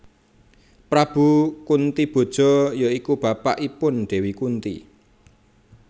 Prabu Kuntiboja ya iku bapakipun Dewi Kunthi